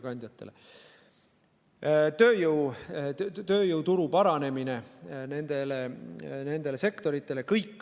Samuti tööjõuturu paranemine nendes sektorites.